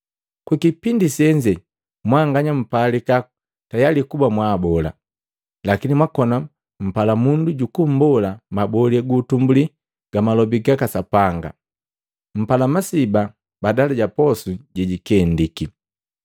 Kukipindi senze mwanganya mwapalika tayali kuba mwaabola, lakini mwakona mumpala mundu jukumbola mabole gu utumbuli ga malobi gaka Sapanga. Mpala masiba badala ja posu jejikendiki.